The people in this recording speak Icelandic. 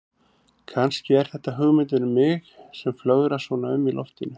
Kannski er þetta hugmyndin um mig sem flögrar svona um í loftinu.